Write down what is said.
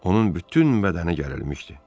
Onun bütün bədəni gərilmişdi.